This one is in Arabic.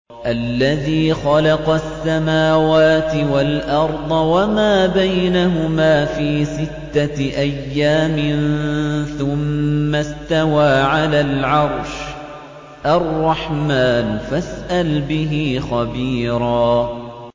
الَّذِي خَلَقَ السَّمَاوَاتِ وَالْأَرْضَ وَمَا بَيْنَهُمَا فِي سِتَّةِ أَيَّامٍ ثُمَّ اسْتَوَىٰ عَلَى الْعَرْشِ ۚ الرَّحْمَٰنُ فَاسْأَلْ بِهِ خَبِيرًا